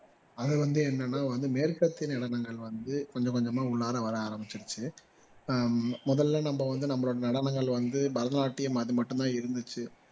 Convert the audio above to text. அதுல வந்து என்னன்னா வந்து மேல்பற்று நிலங்கள் வந்து கொஞ்சம் கொஞ்சமா முன்னால வர ஆரம்பிச்சுடுச்சு ஆஹ் முதல்ல நம்ம வந்து நம்மட நடனங்கள வந்து பரதநாட்டியம் அது மட்டும் தான் இருந்திச்சு